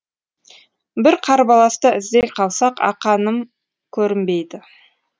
бір қарбаласта іздей қалсақ ақаным көрінбейді